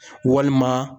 Walima